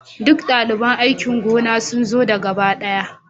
Duk daliban aikin gona sun zo da gaba ɗaya